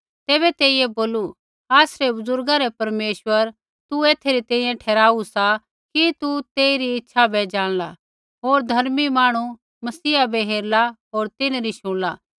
तैबै तेइयै बोलू आसरै बुज़ुर्गा रै परमेश्वरै तू एथै री तैंईंयैं ठहराऊ सा कि तू तेइरी इच्छा बै ज़ाणला होर धर्मी मांहणु मसीहा बै हेरला होर तिन्हरी शुणला